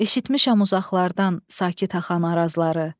Eşitmişəm uzaqlardan sakit axan arazları.